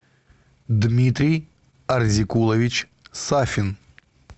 дмитрий арзикулович сафин